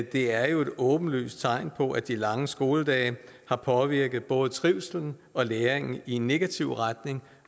det er jo et åbenlyst tegn på at de lange skoledage har påvirket både trivslen og læringen i negativ retning